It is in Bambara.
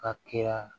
Ka kɛra